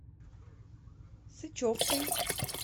сычевкой